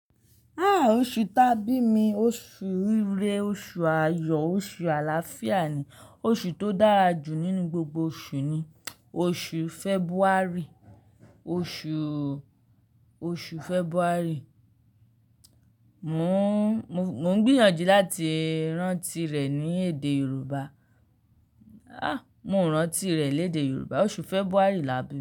Ah! Oṣù ta bí mi, oṣù rere, oṣù ayọ̀, oṣù àlàáfíà ni oṣù tó dára jù nínú gbogbo oṣù ni oṣù February. Oṣù, oṣù February. Mò n gbìyànjú láti rántí rẹ̀ ní èdè Yorùbá. Ah! Mo n rántí rẹ lédè Yorùbá, oṣù February là bi.